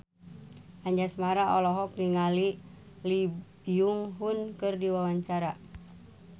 Anjasmara olohok ningali Lee Byung Hun keur diwawancara